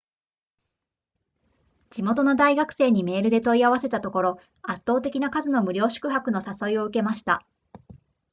地元の大学生にメールで問い合わせたところ圧倒的な数の無料宿泊の誘いを受けました